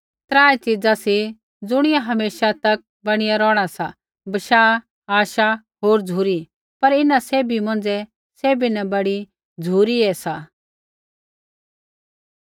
त्राऐ च़ीजा सी ज़ुणियै हमेशा तक बणी रौहणा सा बशाह आशा होर झ़ुरी पर इन्हां सैभी मौंझ़ै सैभी न बड़ी झ़ुरी ही सा